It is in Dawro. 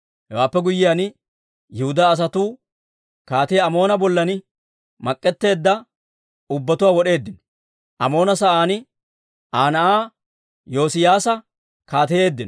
Hewaappe guyyiyaan, Yihudaa asatuu Kaatiyaa Amoona bolla mak'etteedda ubbatuwaa wod'eeddino. Amoona sa'aan Aa na'aa Yoosiyaasa kaateyeeddino.